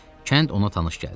Kənd ona tanış gəldi.